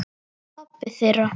Pabbi þeirra?